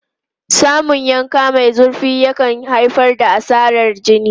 Samun yanka mai zurfi yakan haifar da asarar jini.